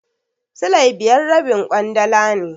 Silai biyar rabin ƙwandala ne.